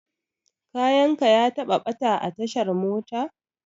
Kayan ka ya taɓa ɓata a tashar mota?